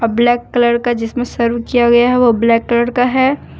Black colour का जिसमें किया गया है वह ब्लैक कलर का है।